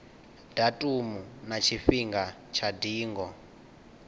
datumu na tshifhinga tsha ndingo